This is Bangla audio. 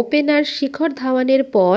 ওপেনার শিখর ধাওয়ানের পর